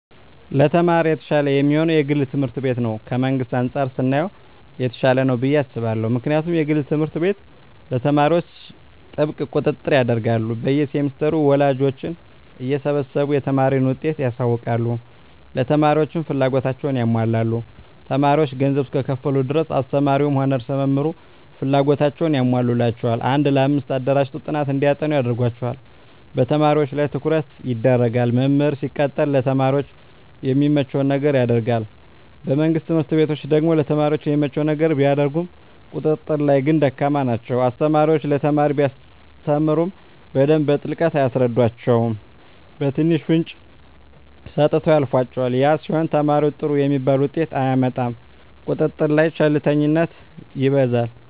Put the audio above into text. ለተማሪ የተሻለ የሚሆነዉ የግል ትምህርት ቤት ነዉ ከመንግስት አንፃር ስናየዉ የተሻለ ነዉ ብየ አስባለሁ ምክንያቱም የግል ትምህርት ቤት ለተማሪዎች ጥብቅ ቁጥጥር ያደርጋሉ በየ ሴምስተሩ ወላጆችን እየሰበሰቡ የተማሪን ዉጤት ያሳዉቃሉ ለተማሪዎችም ፍላጎታቸዉን ያሟላሉ ተማሪዎች ገንዘብ እስከከፈሉ ድረስ አስተማሪዉም ሆነ ርዕሰ መምህሩ ፍላጎታቸዉን ያሟሉላቸዋል አንድ ለአምስት አደራጅተዉ ጥናት እንዲያጠኑ ያደርጓቸዋል በተማሪዎች ላይ ትኩረት ይደረጋል መምህር ሲቀጠር ለተማሪ የሚመቸዉን ነገር ያደርጋል በመንግስት ትምህርት ቤቶች ደግሞ ለተማሪ የሚመቸዉን ነገር ቢያደርጉም ቁጥጥር ላይ ግን ደካማ ናቸዉ አስተማሪዎች ለተማሪ ሲያስተምሩ በደንብ በጥልቀት አያስረዷቸዉም በትንሹ ፍንጭ ሰጥተዉ ያልፏቸዋል ያ ሲሆን ተማሪዉ ጥሩ የሚባል ዉጤት አያመጣም ቁጥጥር ላይ ቸልተኝነት ይበዛል